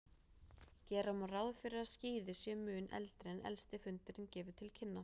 Gera má ráð fyrir að skíði séu mun eldri en elsti fundurinn gefur til kynna.